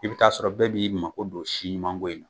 I bi ta'a sɔrɔ bɛɛ b'i ma ko do si ɲumanko in na